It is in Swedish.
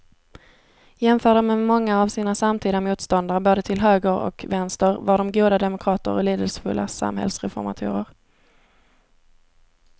Jämförda med många av sina samtida motståndare både till höger och vänster var de goda demokrater och lidelsefulla samhällsreformatorer.